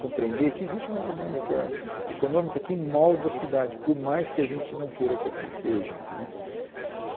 Compreender que existe uma dinâmica econômica que molda a cidade, por mais que a gente não queira que assim seja né.